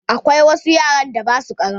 Akwai wasu yaran da ba sua ƙaranbau